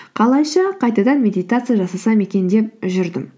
қалайша қайтадан медитация жасасам екен деп жүрдім